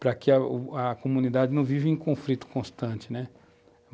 para que a comunidade não viva em conflito constante, né.